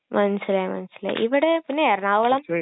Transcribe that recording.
മനസിലായി, മനസിലായി...ഇവിടെ...പിന്നെ എറണാകുളം...